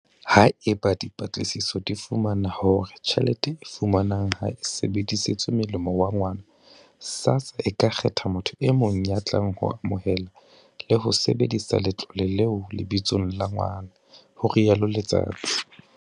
Haeba dipatlisiso di fumana hore tjhelete e fumanwang ha e sebedisetswe molemong wa ngwana, SASSA e ka kgetha motho e mong ya tlang ho amohela le ho sebedisa letlole leo lebitsong la ngwana, ho rialo Letsatsi.